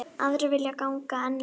Aðrir vilja ganga enn lengra.